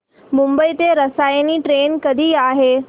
मुंबई ते रसायनी ट्रेन कधी आहे